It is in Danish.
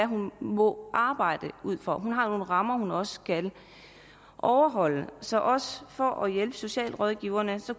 hun må arbejde ud fra hun har nogle rammer hun også skal overholde så også for at hjælpe socialrådgiveren